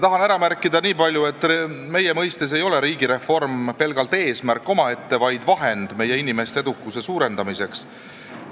Tahan märkida nii palju, et meie mõistes ei ole riigireform pelgalt eesmärk omaette, vaid vahend meie inimeste edukuse suurendamiseks.